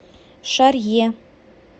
шарье